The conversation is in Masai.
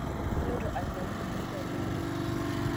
Kaloito anyiangu lgiita leldia